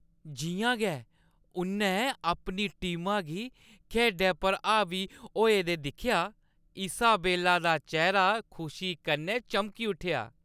जि'यां गै उʼन्नै अपनी टीमा गी खेढै पर हावी होई दे दिक्खेआ इसाबेला दा चेह्‌रा खुशी कन्नै चमकी उट्ठेआ ।